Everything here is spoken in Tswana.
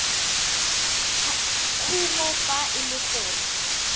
kumo fa e le gore